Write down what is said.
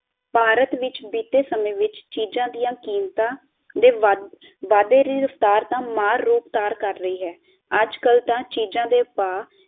ਭਾਰਤ ਵਿੱਚ ਬੀਤੇ ਸਮੇਂ ਵਿੱਚ ਚੀਜਾਂ ਦਿਆਂ ਕੀਮਤਾਂ ਦੇ ਵਾਧੇ ਦੀ ਰਫਤਾਰ ਤਾ ਮਾਰ ਰੂਪ ਤਾਰਨ ਕਰ ਰਹੀ ਹੈ ਅੱਜ ਕੱਲ ਤਾ ਚੀਜਾਂ ਦੇ ਭਾ